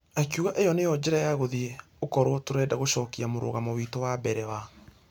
Akĩuga ĩyo nĩyo njĩra ya gũthie ũkorwo tũrenda gũcokia mũrũgamo witũ wa mbere wa .....